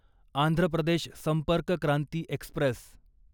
Andhra Pradesh Sampark Kranti Express